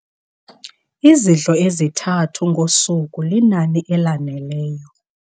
Izidlo ezithathu ngosuku linani elaneleyo.